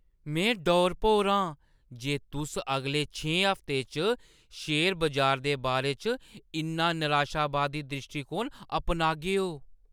में डौर-भौर आं जे तुस अगले छें हफ्तें च शेयर बजार दे बारे च इन्ना निराशावादी द्रिश्टीकोण अपनागेओ।